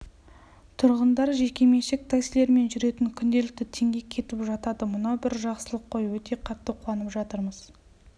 тұрғындар жекеменшік таксилермен жүретін күнделікті теңге кетіп жатады мынау бір жақсылық қой өте қатты қуанып жатырмыз